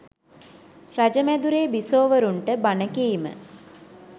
රජ මැදුරේ බිසෝවරුන්ට බණ කීම